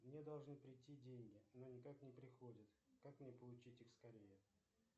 мне должны прийти деньги но никак не приходят как мне получить их скорее